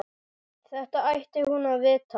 Þetta ætti hún að vita.